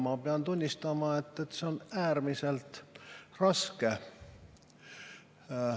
Ma pean tunnistama, et see on äärmiselt raske.